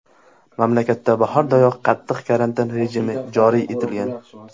Mamlakatda bahordayoq qattiq karantin rejimi joriy etilgan.